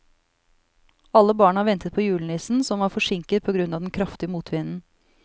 Alle barna ventet på julenissen, som var forsinket på grunn av den kraftige motvinden.